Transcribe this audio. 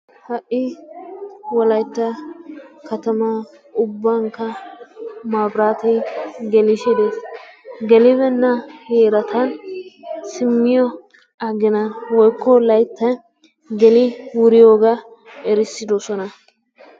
Ha'i wolaytta katamaa ubankka mabiraatee gelisidees. gelibbena heeratun isiniyaa aginaa woykko layttaa geli wurriyoogaa erissidoosona.